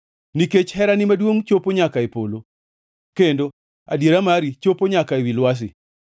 Nikech herani maduongʼ chopo nyaka e polo; kendo adiera mari chopo nyaka ewi lwasi.